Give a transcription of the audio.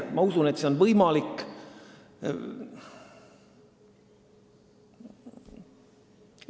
Ma usun, et see on võimalik.